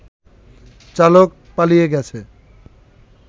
চালক পালিয়ে গেছে